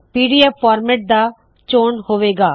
PDF format ਦਾ ਚੋਣ ਹੋਵੇ ਗਾ